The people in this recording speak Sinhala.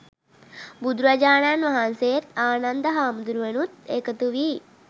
බුදුරජාණන් වහන්සේත්, ආනන්ද හාමුදුරුවනුත් එකතු වී